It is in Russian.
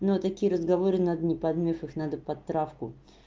но такие разговоры надо не под миф их надо под травку